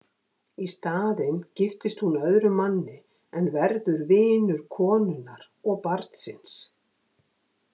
Í staðinn giftist hún öðrum manni en verður vinur konunnar hans og barnsins.